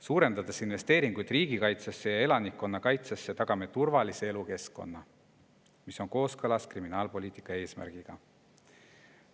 Suurendades investeeringuid riigikaitsesse ja elanikkonnakaitsesse, tagame turvalise elukeskkonna, mis on kooskõlas kriminaalpoliitika eesmärgiga.